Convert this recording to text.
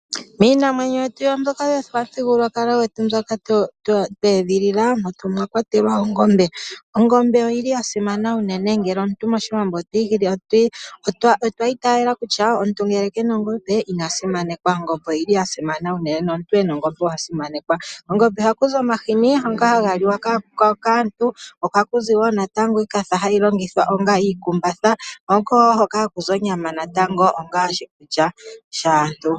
Miinamwenyo yetu mbyoka yopamuthigululwakalo gwetu mbyoka tweedhilila, omwa kwatelwa ongombe. Ongombe oyili ya simana unene, mOshiwambo otwa itayela kutya omuntu ngele kena ongombe ina simanekwa. Ongombe oyili ya simana unene nomuntu ena ongombe owa simanekwa. Kongombe ohaku zi omahini ngoka haga liwa kaantu, ohaku zi wo natango iikatha hayi longithwa onga iikumbatha, ko oko wo hoka haku zi onyama onga oshikulya shaantu.